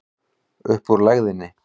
Upp úr lægðinni